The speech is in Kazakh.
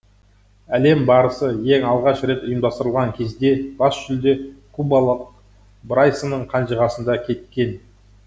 әлем барысы ең алғаш рет ұйымдастырылған кезде бас жүлде кубалық брайсонның қанжығасында кеткен